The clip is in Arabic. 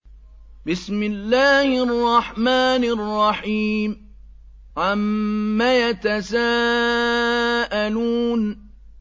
عَمَّ يَتَسَاءَلُونَ